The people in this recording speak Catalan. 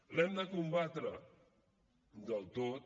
l’hem de combatre del tot